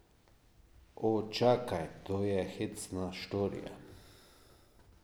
O, čakaj, to je hecna štorija.